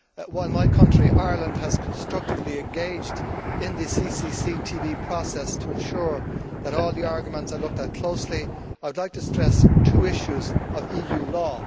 While my country, Ireland, has constructively engaged in the CCCTB process to ensure that all the arguments are looked at closely, I would like to stress two issues of EU law.